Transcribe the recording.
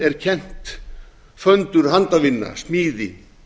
er kennt föndur handavinna smíði